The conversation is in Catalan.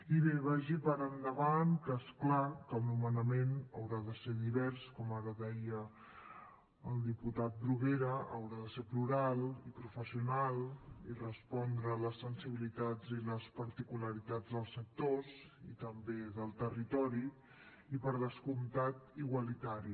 i bé vagi per endavant que és clar que el nomenament haurà de ser divers com ara deia el diputat bruguera haurà de ser plural i professional i respondre a les sensibilitats i a les particularitats dels sectors i també del territori i per descomptat igualitari